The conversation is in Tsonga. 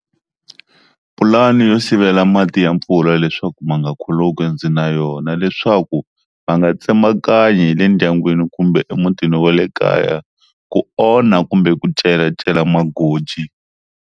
Pulani yo sivela mati ya mpfula leswaku ma nga khuluki ndzi na yona leswaku va nga tsemakanya hi le ndyangwini kumbe emutini wa le kaya, ku onha kumbe ku celacela magoji.